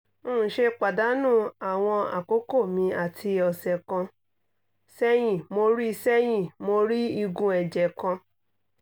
n ṣe padanu awọn akoko mi ati ọsẹ kan sẹyin mo rii sẹyin mo rii igun ẹjẹ kan